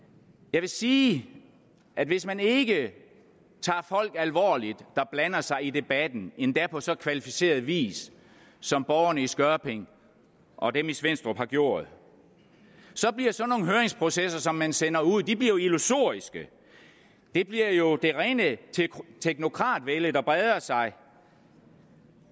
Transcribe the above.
jeg vil sige at hvis man ikke tager folk alvorligt der blander sig i debatten endda på så kvalificeret vis som borgerne i skørping og dem i svenstrup har gjort bliver sådan nogle høringsprocesser som man sender ud illusoriske det bliver jo det rene teknokratvælde der breder sig